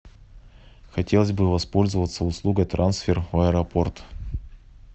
хотелось бы воспользоваться услугой трансфер в аэропорт